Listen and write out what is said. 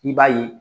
I b'a ye